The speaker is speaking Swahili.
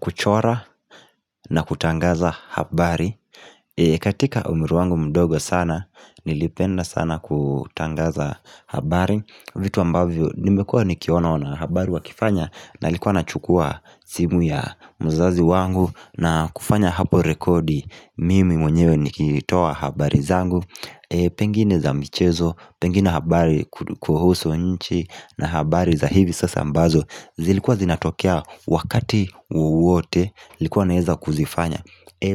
Kuchora na kutangaza habari katika umri wangu mdogo sana Nilipenda sana kutangaza habari vitu ambavyo nimekua nikiona wana habari wakifanya na nilikuwa nachukua simu ya mzazi wangu na kufanya hapo rekodi mimi mwenyewe nikitoa habari zangu Pengine za michezo, pengine habari kuhusu nchi na habari za hivi sasa ambazo zilikuwa zinatokea wakati wowote nilikuwa naweza kuzifanya